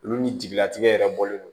Olu ni jigilatigɛ yɛrɛ bɔlen no